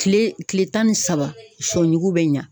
Kile kile tan ni saba , sɔ yugu bɛ ɲa.